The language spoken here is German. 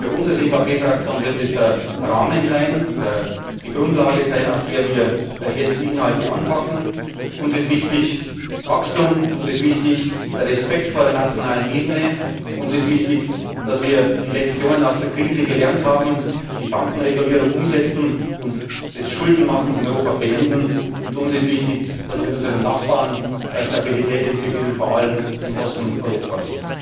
Für uns als EVP Fraktion wird das der Rahmen sein, die Grundlage, auf der wir jetzt die Inhalte anpacken. Uns ist wichtig Wachstum, uns ist wichtig der Respekt vor der nationalen Ebene, uns ist wichtig, dass wir die Lektionen aus der Krise gelernt haben, die Bankenregulierung umsetzen und das Schuldenmachen in Europa beenden. Und uns ist wichtig, dass wir mit unseren Nachbarn Stabilität entwickeln, vor allem im Osten Europas.